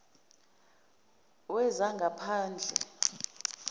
wezangaphandle